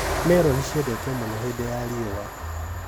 Meroni ciendetwo mũno hĩndĩ ya riũa